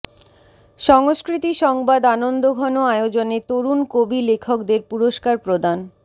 সংস্কৃতি সংবাদ আনন্দঘন আয়োজনে তরুণ কবি লেখকদের পুরস্কার প্রদান